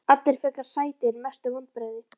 Allir frekar sætir Mestu vonbrigði?